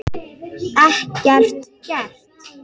Ekkert gert?